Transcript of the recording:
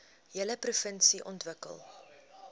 hele provinsie ontwikkel